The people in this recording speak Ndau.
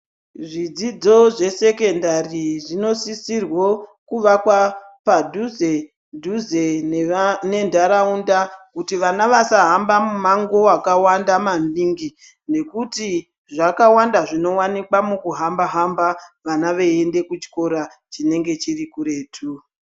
Zvidzidzo zvesekondari zvinosisirwo kuakwa padhuze-dhuze nenharaunda kuti vana vasahamba mumango wakawanda maningi nekuti zvakawanda zvinowanikwa mukuhamba hamba vana veienda kuchikora chinenge chiri kuretu.